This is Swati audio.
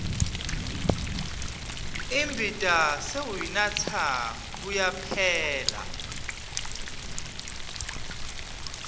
imbita sewuyanatsa kuyaphela